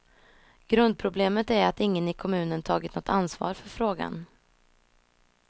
Grundproblemet är att ingen i kommunen tagit något ansvar för frågan.